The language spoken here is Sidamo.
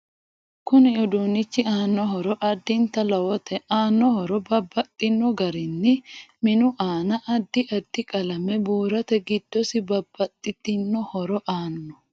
Kuni uduunichi aano horo addinta lowote aano horo babbaxino garibni minu aana addi addi qalame buurate giddosi babbxitino horo aanno